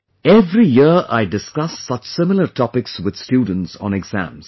every year I discuss such similar topics with students on exams